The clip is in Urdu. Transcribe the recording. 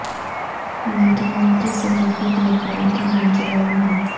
مکینن کی صحت کی دیکھ بھال کی منصوبہ بندی